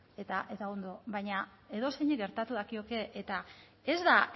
eta ondo baina edozeini gertatu dakioke eta ez da